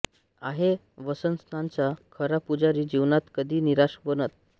आहे वसन्ताचा खरा पुजारी जीवनात कधी निराश बनत